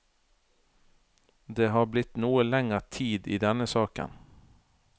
Det har blitt noe lenger tid i denne saken.